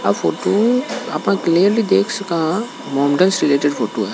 यह फोटो आपा क्लेअरली देख सकते है मोमडन का फोटो है।